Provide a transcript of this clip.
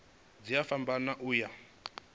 dzi a fhambana u ya